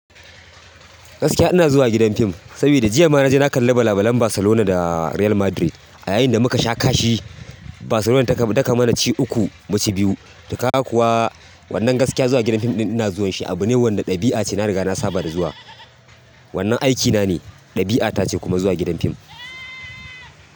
Gaskiya ina zuwa gidan fim, saboda jiya ma naje na kalli wasan Barcelona da Real Madrid. A yayin da muka sha kashi, Barcelona ta mana ci uku mun ci biyu. To kaga kuwa wannan gaskiya zuwa gidan fim ina zuwan shi abune wanda ɗabi'ace na riga na saba da zuwa. Wannan aikina ne, ɗabi'ata ce kuma zuwa gidan fim.